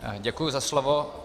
Děkuji za slovo.